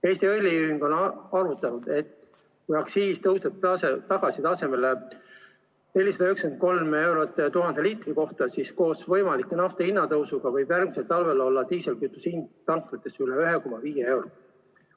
Eesti Õliühing on arvutanud, et kui aktsiis tõuseb tagasi tasemele 493 eurot 1000 liitri kohta, siis koos võimaliku naftahinna tõusuga võib järgmisel talvel olla diislikütuse hind tanklates üle 1,5 euro liiter.